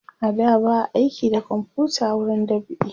a da ba a aiki da komfuta wurin dab'i